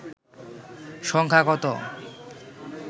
সংখ্যা কত